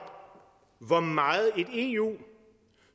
hvor meget et eu